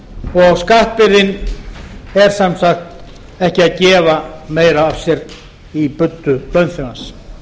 og skatturinn er sem sagt ekki að gefa meira af sér í buddu launþegans